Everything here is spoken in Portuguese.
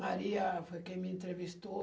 Maria foi quem me entrevistou.